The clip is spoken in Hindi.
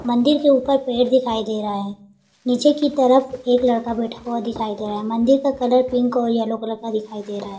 मंदिर के ऊपर पेड़ दिखाई दे रहा है। नीचे की तरफ एक लड़का बैठा हुआ दिखाई दे रह रहा है। मंदिर का कलर पिंक और येलो का दिखाई दे रहा है।